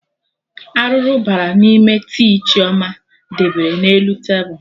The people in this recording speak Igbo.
Arụrụ bara n'ime tii Chioma debere na elu tebul